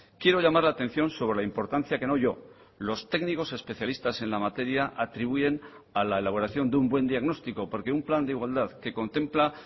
quiero llamar la atención sobre la importancia que no yo los técnicos especialistas en la materia atribuyen a la elaboración de un buen diagnóstico porque un plan de igualdad que contempla